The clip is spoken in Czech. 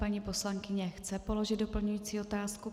Paní poslankyně chce položit doplňující otázku?